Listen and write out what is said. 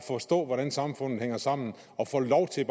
forstå hvordan samfundet hænger sammen og få lov til at